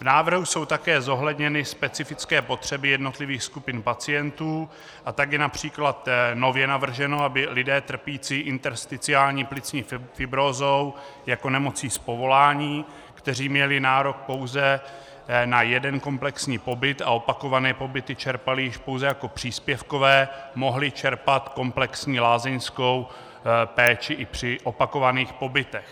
V návrhu jsou také zohledněny specifické potřeby jednotlivých skupin pacientů, a tak je například nově navrženo, aby lidé trpící intersticiální plicní fibrózou jako nemocí z povolání, kteří měli nárok pouze na jeden komplexní pobyt a opakované pobyty čerpali již pouze jako příspěvkové, mohli čerpat komplexní lázeňskou péči i při opakovaných pobytech.